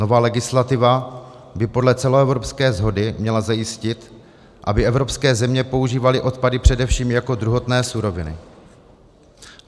Nová legislativa by podle celoevropské shody měla zajistit, aby evropské země používaly odpady především jako druhotné suroviny.